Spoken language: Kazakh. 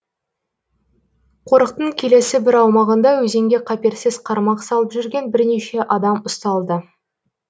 қорықтың келесі бір аумағында өзенге қаперсіз қармақ салып жүрген бірнеше адам ұсталды